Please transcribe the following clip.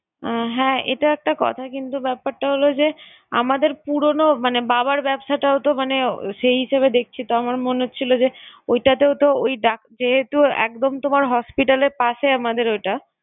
উম হ্যাঁ, এটাও একটা কথা কিন্তু ব্যাপারটা হলো যে আমাদের পুরনো মানে বাবার ব্যবসাটাও তো মানে সেই হিসেবে দেখছি। তো আমার মনে হচ্ছিলো যে ওইটাতেও তো ওই ডাক~ যেহেতু একদম তোমার hospital এর পাশে আমাদের ওইটা